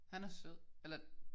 Han er sød. Eller?